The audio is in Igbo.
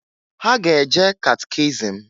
Ha ga-eje catechism.